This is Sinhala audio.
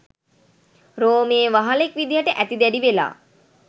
රෝමයේ වහලෙක් විදිහට ඇති දැඩි වෙලා